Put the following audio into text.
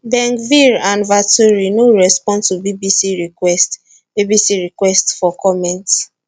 bengvir and vaturi no respond to bbc requests bbc requests for comment